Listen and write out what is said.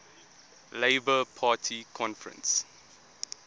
labour party conference